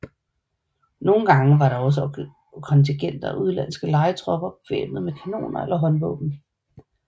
Nogle gange var der også kontingenter af udenlandske lejetropper bevæbnet med kanoner eller håndvåben